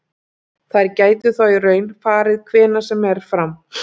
Þær gætu þá í raun farið hvenær sem er fram.